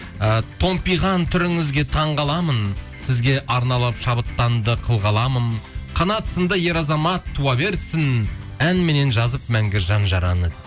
ы томпиған түріңізге таңғаламын сізге арналап шабыттанды қыл қаламым қанат сынды ер азамат туа берсін әнменен жазып мәңгі жан жараны